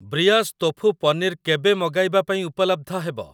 ବ୍ରିୟାସ tofu paneer କେବେ ମଗାଇବା ପାଇଁ ଉପଲବ୍ଧ ହେବ?